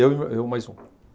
Eu e eu e mais um.